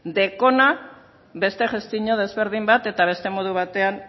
duena beste gestio desberdin bat eta beste modu batean